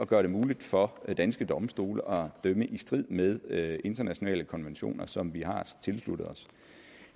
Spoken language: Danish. gøre det muligt for danske domstole at dømme i strid med med internationale konventioner som vi har tilsluttet os